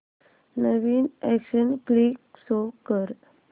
नवीन action flick show कर